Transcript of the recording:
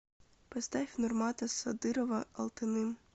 поставь нурмата садырова алтыным